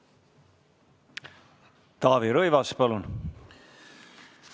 Taavi Rõivas, palun!